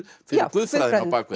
guðfræðinni á bak við